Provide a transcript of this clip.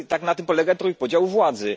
Na tym polega trójpodział władzy.